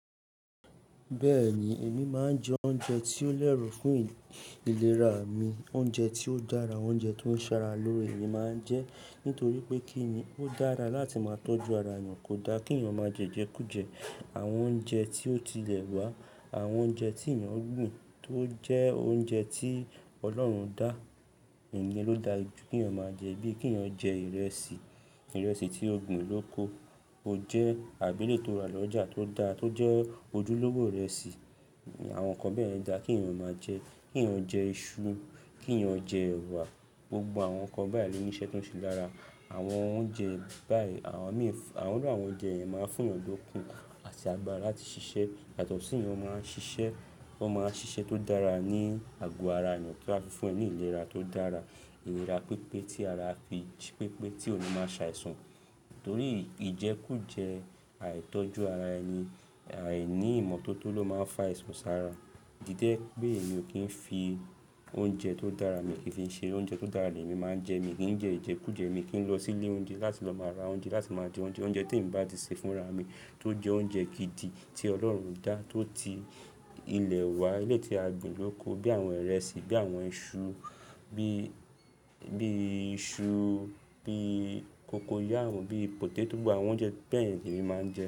Bẹ́ẹ̀ni, èmi máa ń jẹ oúnjẹ tí ó lẹ̀ri fún ìlera mi. Oúnjẹ tí ó dára, oúnjẹ tó ń ṣara lóore mi máa ń jẹ nítorí pé kí ni, ó dára láti máa tọ́jú ara ènìyàn. Kò da kí ènìyàn máa jẹ ìjẹkújẹ, àwọn oúnjẹ tí ó tilẹ̀ wá, àwọn oúnjẹ tí ènìyàn gbìn tó jẹ́ oúnjẹ tí Ọlọ́run dá, ìyẹn ló da jú kí ènìyàn máa jẹ bíi kí ènìyàn jẹ ìrẹsì, ìrẹsì tí ó gbin lóko, ó jẹ́ àbi eléyìí tó ra lọ́jà tó da, tó jẹ́ ojúlówò ìrẹsì. Àwọn nǹkan bẹ́ẹ̀ yen da kí èyàn máa jẹ. Kí èyàn jẹ iṣu, kí ènìyàn jẹ ẹwà. Gbogbo àwọn nǹkan bayi lo ní iṣẹ́ ti ó ṣe lára. Àwọn oúnjẹ bayi, àwọn mi, awọn irú àwọn oúnjẹ yẹn máa ń fún èyàn lókun àti agbára láti ṣiṣẹ́. Yàtọ̀ sí ìyẹn, wọn máa ń ṣiṣẹ́, wọn máa ń ṣiṣẹ́ tó dára ní àgò ara ènìyàn tí a fi fún ẹni ìlera tó dára. Ìlera pípé tí ara fi jí pípé tí oní máa ṣe àìsàn. Torí ìjẹkújẹ àìtọ́jú ara ẹni, àìní ìmọ́tótó ló máa ń fa àisàn sára. Díde pé èmi ò kí ń fi oúnjẹ tó dára mi ki n fi ṣere oúnjẹ tó dára lemi máa ń jẹ. Mi o kì í jẹ ìjẹkújẹ, mi kì í lọ sí ilé oúnjẹ láti lọ máa ra oúnjẹ, láti máa jẹ oúnjẹ. Oúnjẹ tí emi bá ti sè fúnra mi tó jẹ́ oúnjẹ gidi tí Ọlọ́run dá, tó ti ilẹ̀ wa, eleyii tí a gbìn lóko bí àwọn ìrẹsì, bí àwọn iṣu, bí, bí iṣu, bí cocoyam bí pòtétò, gbogbo àwọn oúnjẹ bẹ́ yẹn lèmi máa ń jẹ.